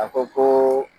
A ko ko